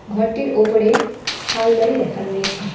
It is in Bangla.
ঘরটির ওপরে শালবাড়ি লেখা রয়েছে।